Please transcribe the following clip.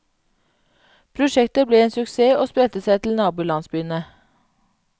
Prosjektet ble en sukess og spredte seg til nabolandsbyene.